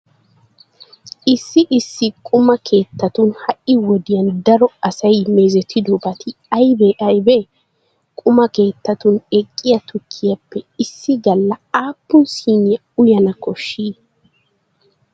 Issi issi quma keettatun ha"i wodiyan daro asay meezetidobati aybee aybee? Quma keettatun eqqiya tukkiyappe issi galla aappun siiniya uyana koshshii?